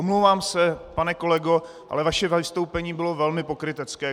Omlouvám se, pane kolego, ale vaše vystoupení bylo velmi pokrytecké.